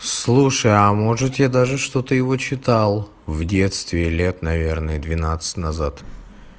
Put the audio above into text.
слушай а может я даже что-то его читал в детстве лет наверное двенадцать назад